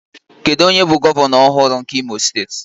Kedu onye bụ gọvanọ ọhụrụ nke Imo steeti?